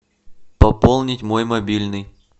пополнить мой мобильный